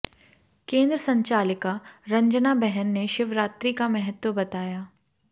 कें द्र संचालिका रंजना बहन ने शिवरात्रि का महत्व बताया